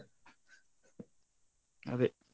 ಅದೇ.